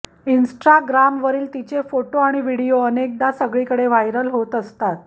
इन्स्टाग्रामवरील तिचे फोटो आणि व्हिडिओ अनेकदा सगळीकडे व्हायरल होत असतात